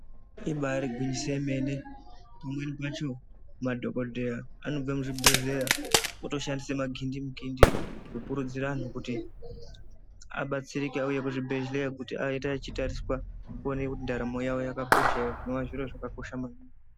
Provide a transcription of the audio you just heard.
Ibari gwinyiso yemene kumweni kwacho madhokodheya anobve muzvibhehleya otoshandise magindimukindi kukurudzira anhu kuti abatsirike auye kuzvibhehleya kuti aite achitariswa kuonekwe kuti ndaramo yawo yakakosha ere izvo zvinova zviro zvakakosha maningi.